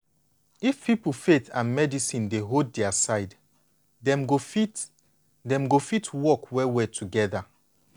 if people faith and medicine dey hold dia side dem go fit dem go fit work well well together.